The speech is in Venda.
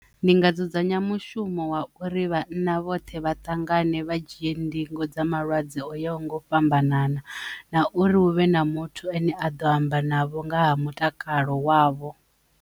Ndi nga dzudzanya mushumo wa uri vhana vhoṱhe vha ṱangane vha dzhie ndingo dza malwadze o yaho nga u fhambanana na uri hu vhe na muthu ane a ḓo amba navho nga ha mutakalo wavho.